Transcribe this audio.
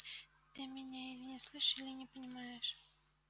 ты меня или не слышишь или не понимаешь